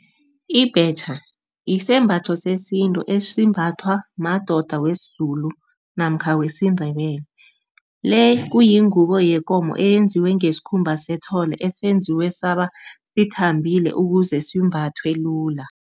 Ibhetjha isembatho sesintu esimbathwa madoda wesiZulu namkha wesiNdebele. Le kuyingubo yekomo eyenziwe ngesikhumba sethole, esenziwe saba sithambile ukuze simbathwe lula.